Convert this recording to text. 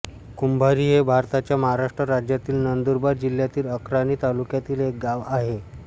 कुंभारी हे भारताच्या महाराष्ट्र राज्यातील नंदुरबार जिल्ह्यातील अक्राणी तालुक्यातील एक गाव आहे